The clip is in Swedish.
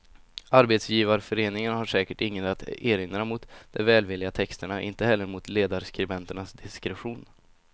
Arbetsgivarföreningen har säkert inget att erinra mot de välvilliga texterna, inte heller mot ledarskribenternas diskretion.